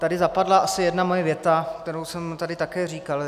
Tady zapadla asi jedna moje věta, kterou jsem tady také říkal.